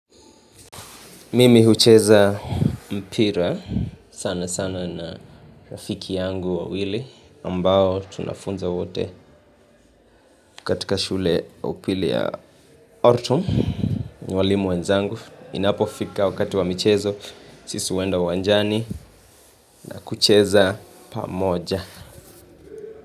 Mimi hucheza mpira sana sana na rafiki yangu wawili ambao tunafunza wote katika shule upili ya autumn walimu wenzangu. Minapo fika wakati wamichezo sisu wenda wanjani na kucheza pamoja.